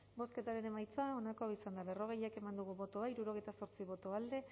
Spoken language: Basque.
bozketaren emaitza onako izan da berrogei eman dugu bozka hirurogeita zortzi boto alde